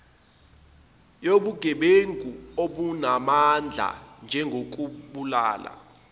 yobugebengu obunamandla njengokubulala